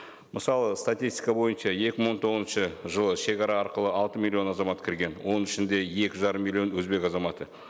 мысалы статистика бойынша екі мың он тоғызыншы жылы шегара арқылы алты миллион азамат кірген оның ішінде екі жарым миллион өзбек азаматы